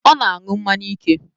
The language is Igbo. Ọ na na-aṅụ mmanya ike